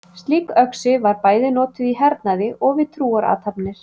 Slík öxi var bæði notuð í hernaði og við trúarathafnir.